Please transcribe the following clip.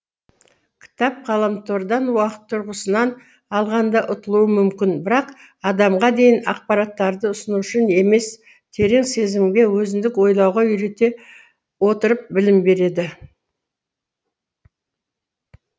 кітап ғаламтордан уақыт тұрғысынан алғанда ұтылуы мүмкін бірақ адамға дайын ақпараттарды ұсынушы емес терең сезімге өзіндік ойлауға үйрете отырып білім береді